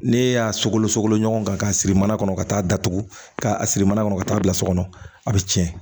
Ne y'a sogolon sogo ɲɔgɔn kan k'a siri mana kɔnɔ ka taa datugu k'a siri mana kɔnɔ ka taa bila so kɔnɔ a bɛ tiɲɛ